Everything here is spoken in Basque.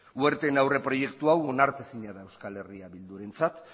werten aurreproiektu hau onartezina da eh bildurentzat